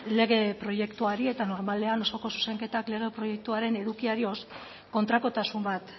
lege proiektuari eta normalean osoko zuzenketak lege proiektuaren edukiari kontrakotasun bat